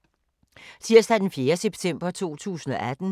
Tirsdag d. 4. september 2018